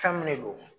Fɛn min de don